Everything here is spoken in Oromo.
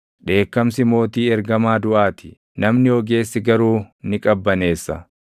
Dheekkamsi mootii ergamaa duʼaa ti; namni ogeessi garuu ni qabbaneessa.